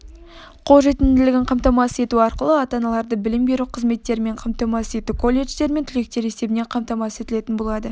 қолжетімділігін қамтамасыз ету арқылы ата-аналарды білім беру қызметтерімен қамтамасыз ету колледждер мен түлектері есебінен қамтамасыз етілетін болады